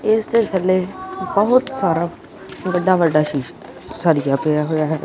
ਇਸ ਦੇ ਥੱਲੇ ਬਹੁਤ ਸਾਰਾ ਵੱਡਾ ਵੱਡਾ ਸਰੀਆ ਪਿਆ ਹੋਇਆ ਹੈ।